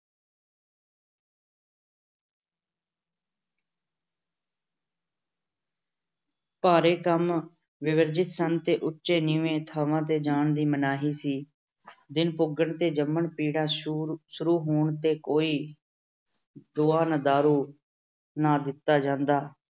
ਭਾਰੇ ਕੰਮ ਵਰਜਿਤ ਸਨ ਤੇ ਉਚੇ ਨੀਵੇਂ ਦਿਨ ਥਾਂ ਤੇ ਜਾਣ ਦੀ ਮਨਾਹੀ ਸੀ। ਦਿਨ ਪੁੱਗਣ ਤੇ ਜੰਮਣ ਪੀੜਾ ਸ਼ੁਰੂ ਹੋਣ ਤੇ ਕੋਈ ਦੁਆ-ਦਾਰੂ ਨਾ ਦਿੱਤਾ ਜਾਂਦਾ।